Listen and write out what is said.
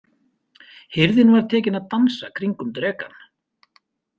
Hirðin var tekin að dansa kringum drekann.